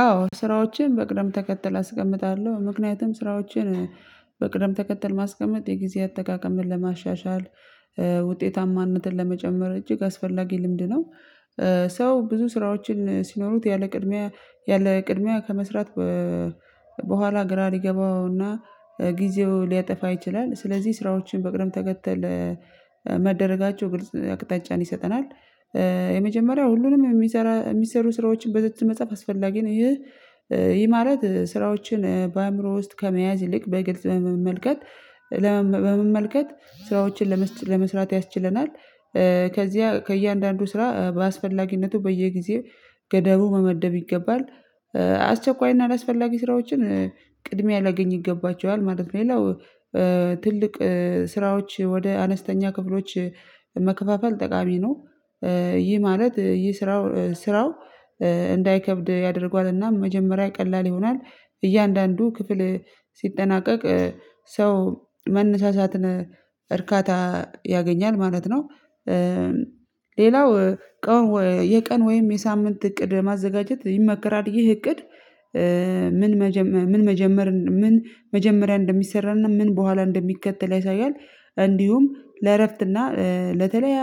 አዎ ስራዎችን በቅደም ተከተል አስቀምጣለሁ ምክንያቱም ስራዎችን በቅደም ተከተል ማስቀመጥ የጊዜ አጠቃቀምን ለማሻሻል ውጤታማነትን ለመጨመር እጅግ አስፈላጊ ልምድ ነው። ሰው ብዙ ስራዎችን ሲኖሩት ያለ ቅድሚያ ያለ ቅድሚያ ከመስራት በኋላ ግራ ሊገባውና ጊዜው ሊያጠፋ ይችላል። ስለዚህ ስራዎችን በቅርብ ተከተል መደረጋቸው ግልጽ አቅጣጫን ይሰጠናል። የመጀመሪያው ሁሉንም የሚሰሩ ስራዎችን በዝርዝር መጻፍ አስፈላጊ ነው። ይሄ የማለት ስራዎችን በአእምሮ ውስጥ ከመያዝ ይልቅ በግልጽ በመመልከት ለመመልከት ስራዎችን ለመስራት ያስችለናል። ከዚያ ከእያንዳንዱ ስራ በአስፈላጊነቱ በየጊዜው ገደቡ መመደብ ይገባል። አስቸኳይና አላስፈላጊ ስራዎችን ቅድሚያ ሊያገኝ ይገባቸዋል ማለት ነው። ይላው ትልቅ ስራዎች ወደ አነስተኛ ክፍሎች መከፋፈል ጠቃሚ ነው። ይህ ማለት ይህ ስራው ስራው እንዳይከብድ ያደርጓልና መጀመሪያ ቀላል ይሆናል እያንዳንዱ ክፍል ሲጠናቀቅ ሰው መነሳሳትን እርካታ ያገኛል ማለት ነው። ሌላው የቀን ወይም የሳምንት እቅድ ማዘጋጀት ይመከራል። ይህ እቅድ ምን መጀመር ምን ምን መጀመሪያ እንደሚሰራና ምን በኋላ እንደሚከተል ያሳያል። እንዲሁም ለእረፍትና ለተለይ